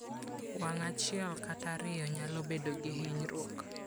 Wang ' achiel kata ariyo nyalo bedo gi hinyruok.